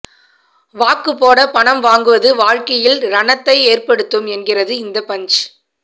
வாக்கு போட பணம் வாங்குவது வாழ்க்கையில் ரணத்தை ஏற்படுத்தும் என்கிறது இந்த பஞ்ச்